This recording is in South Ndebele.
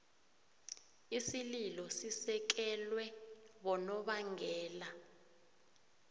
isililo sisekelwe bonobangela